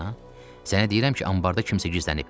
Sənə deyirəm ki, anbarda kimsə gizlənib.